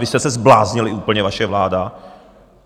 Vy jste se zbláznili úplně, vaše vláda!